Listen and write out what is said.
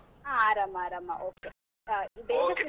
ಹಾ ಆರಾಮ್ ಆರಾಮ, okay .